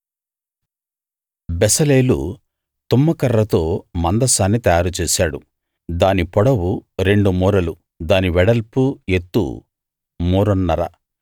బెసలేలు తుమ్మకర్రతో మందసాన్ని తయారుచేశాడు దాని పొడవు రెండు మూరలు దాని వెడల్పు ఎత్తు మూరన్నర